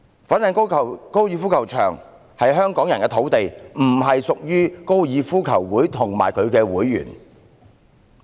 粉嶺高爾夫球場是香港人的土地，並不屬於香港哥爾夫球會及其會員。